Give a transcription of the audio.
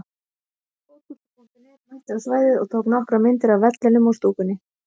Fótbolti.net mætti á svæðið og tók nokkrar myndir af vellinum og stúkunni.